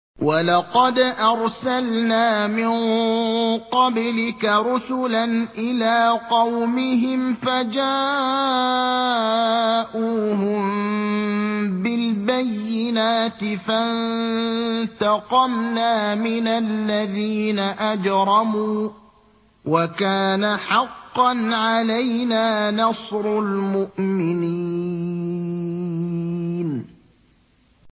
وَلَقَدْ أَرْسَلْنَا مِن قَبْلِكَ رُسُلًا إِلَىٰ قَوْمِهِمْ فَجَاءُوهُم بِالْبَيِّنَاتِ فَانتَقَمْنَا مِنَ الَّذِينَ أَجْرَمُوا ۖ وَكَانَ حَقًّا عَلَيْنَا نَصْرُ الْمُؤْمِنِينَ